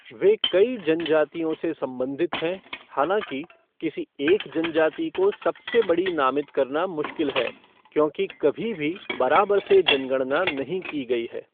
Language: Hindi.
वे कई जनजातियों से संबंधित हैं, हालांकि, किसी एक जनजाति को सबसे बड़ी नामित करना मुश्किल है क्योंकि कभी भी बराबर से जनगणना नहीं की गई है।